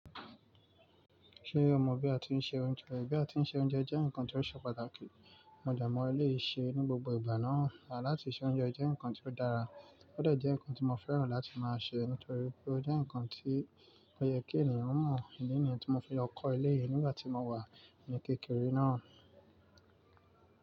Ṣé o mọ̀ bí a ti ń sè oúnjẹ? Bí a ti ń sè oúnjẹ jẹ́ ǹkan tí ó ṣe pàtàkì. Modemo eléyìí ṣe é ní gbogbo ìgbà náà. À láti sè oúnjẹ jẹ́ ǹkan tí ó dára, ó dọ̀ jẹ́ ǹkan tí mo fẹ́ràn láti máa ṣe nítorí pé ó jẹ́ ǹkan tí ó yẹ kí ènìyàn mọ̀. Ìdí nìyẹn tí mo fi lọ kọ eléyì nígbàtí mo wà ní kékeré náà.